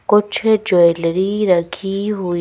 कुछ ज्वेलरी रखी हुई--